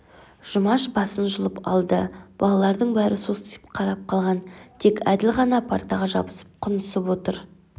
жұмаш басын жұлып алды балалардың бәрі состиып қарап қалған тек әділ ғана партаға жабысып құнысып отыр